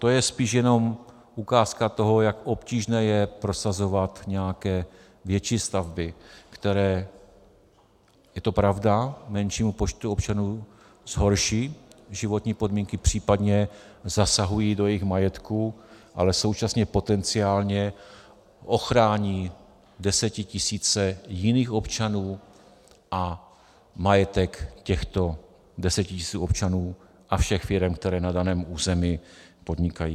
To je spíš jenom ukázka toho, jak obtížné je prosazovat nějaké větší stavby, které, je to pravda, menšímu počtu občanů zhorší životní podmínky, případně zasahují do jejich majetků, ale současně potenciálně ochrání desetitisíce jiných občanů a majetek těchto desetitisíců občanů a všech firem, které na daném území podnikají.